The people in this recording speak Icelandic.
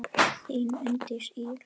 Þín Unndís Ýr.